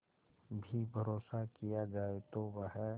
भी भरोसा किया जाए तो वह